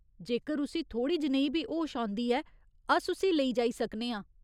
जेकर उस्सी थोह्ड़ी जनेही बी होश औंदी ऐ, अस उस्सी लेई जाई सकने आं।